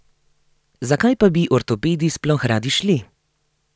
Zakaj pa bi ortopedi sploh radi šli?